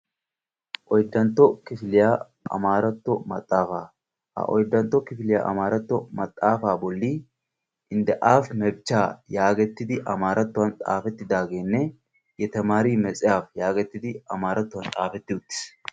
Oyddantto kifiliya tamariyo maxafaa. Ha maxafan doonna dooyiddo qaala giya xuufe amaaratuwan xaafetti uttiis.